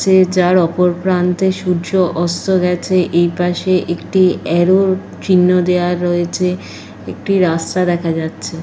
যে যার ওপর প্রান্তে সূর্য অস্ত গেছে। এই পাশে একটি অ্যারো চিহ্ন দেওয়া রয়েছে। একটি রাস্তা দেখা যাচ্ছে।